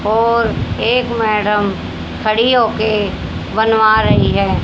और एक मैडम खड़ी होकर बनवा रही है।